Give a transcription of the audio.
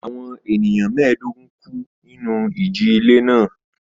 Àwọn ènìyàn mẹ́ẹ̀dógún kú nínú ìjì-ilẹ̀ náà.